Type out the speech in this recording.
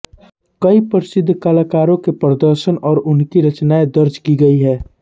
कई प्रसिद्ध कलाकारों के प्रदर्शन और उनकी रचनाए दर्ज की गई है